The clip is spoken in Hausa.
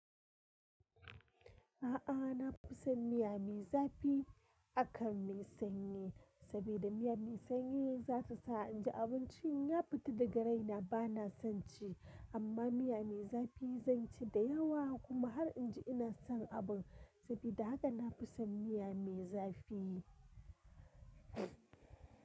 A'a, na fi son miya mai zafi akan mai sanyi, saboda miya mai sanyi zata sa inji abincin ya fita daga raina bana son ci, amma miya mai zafi zan ci da yawa kuma har inji ina son abun, saboda haka na fi son miya mai zafi.